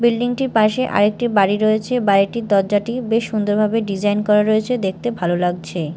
Building -টির পাশে আরেকটি বাড়ি রয়েছে বাড়িটির দরজাটি বেশ সুন্দরভাবে ডিজাইন করা রয়েছে দেখতে ভালো লাগছে।